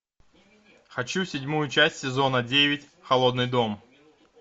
хочу седьмую часть сезона девять холодный дом